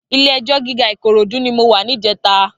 Ilé èjò gigá Ikorodu ni mó wà nijètá